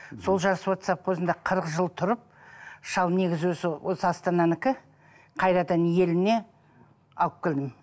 сол жасуат савхозында қырық жыл тұрып шал негізі өзі осы астананікі қайтадан еліне алып келдім